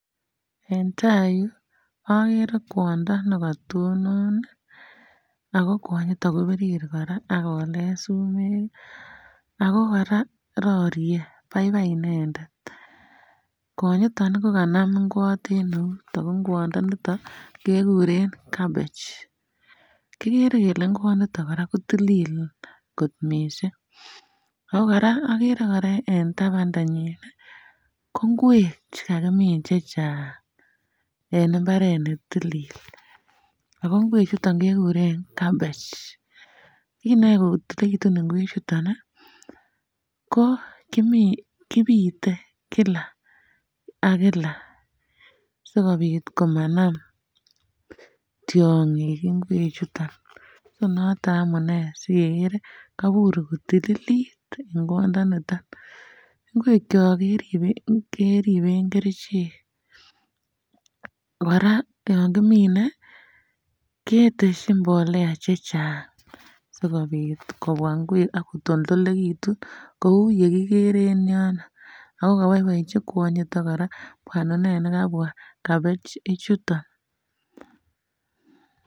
En tai iroyu agere kwondo nekatonon ago kwonyiton ko birir koraa ak kolet sumek ago koraa kororie baibai inendet kwonyiton ko kanaman ikwot enout Ago ikwondoniton kekuren cabbage kigere kele ikwondoniton koraa kotilil kot miisik ago koraa agere ago koraa agere en tabandanyin ko kwek chekakimin chechaang en imbaret ne tilil ago ikwek ichuton kekuren cabbage kin neyae kotililekitu ikwek ichuton ko ki ko kobite Kila ak Kila si kobit komanam tiongik ikwek ichuton so noton amunee si keger kabur kotililit ikwondoniton ikwekyo keriben kerichek koraa yankimine keteshi mbolea chechaang si kobit kobwa ikwek a kotililekitun, akotoldokitun kou yekikere en yono ago kababaechi kwonyitet baninwek chekabwa cabbage ichuton.